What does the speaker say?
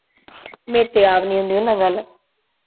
ਮੇਰੇ ਤੇ ਆਪ ਨੀ ਹੁੰਦੀ ਉਹ ਨਾਲ ਗੱਲ